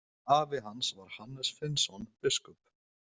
Afi hans var Hannes Finnsson biskup.